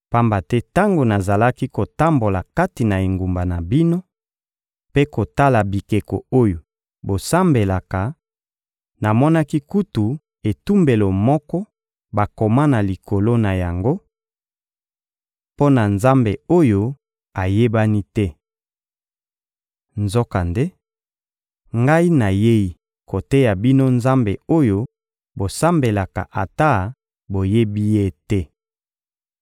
Pamba te tango nazalaki kotambola kati na engumba na bino mpe kotala bikeko oyo bosambelaka, namonaki kutu etumbelo moko bakoma na likolo na yango: Mpo na Nzambe oyo ayebani te. Nzokande, ngai nayei koteya bino Nzambe oyo bosambelaka ata boyebi Ye te.